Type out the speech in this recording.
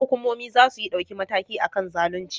Hukumomi zasuyi dauki mataki akan zalunci